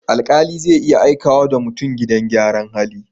Alƙali zai iya aikawa da mutum gidan gyaran hali.